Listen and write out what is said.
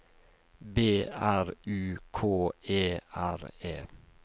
B R U K E R E